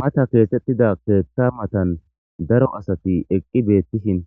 Mata keesettida keethta matan daro asati eqqi beettishin